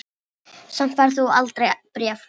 Samt færð þú aldrei bréf.